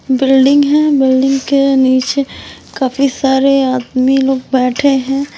Building है building के नीचे काफी सारे आदमी लोग बैठे हैं।